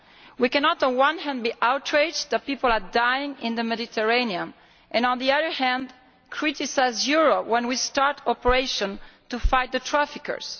We cannot on the one hand be outraged that people are dying in the Mediterranean and on the other hand criticise Europe when we start operations to fight the traffickers.